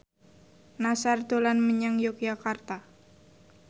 Nassar dolan menyang Yogyakarta